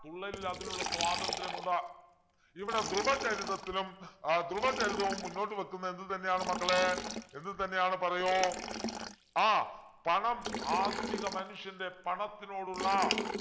തുള്ളലിൽ അതിനുള്ള സ്വാതന്ത്ര്യമുണ്ട് ഇവിടെ ധ്രുവ ചരിതത്തിലും ആഹ് ധ്രുവ ചരിതവും മുന്നോട്ട് വെക്കുന്നതെന്ത് തന്നെയാണ് മക്കളെ എന്ത് തന്നെയാണ് പറയു ആ പണം ആധുനിക മനുഷ്യൻ്റെ പണത്തിനോടുള്ള